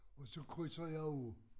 Og så krydser jeg af